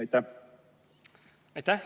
Aitäh!